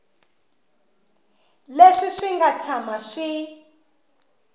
leswi swi nga tshama swi